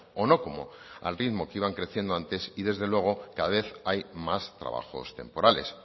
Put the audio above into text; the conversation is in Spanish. o no como al ritmo que iban creciendo antes y desde luego cada vez hay más trabajos temporales